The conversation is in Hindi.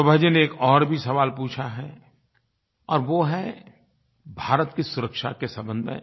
शोभा जी ने एक और भी सवाल पूछा है और वो है भारत की सुरक्षा के संबंध में